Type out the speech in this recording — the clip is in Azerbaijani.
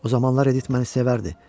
O zamanlar Edit məni sevərdi.